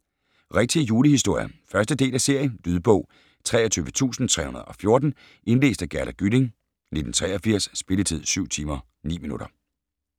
Rigtige julehistorier 1. del af serie. Lydbog 23314 Indlæst af Gerda Gylling, 1983. Spilletid: 7 timer, 9 minutter.